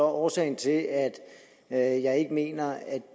at årsagen til at at jeg ikke mener at